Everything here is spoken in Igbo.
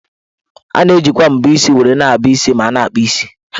A na-ejikwa mbọ isi were na-abọ isi ma a na-akpụ isi.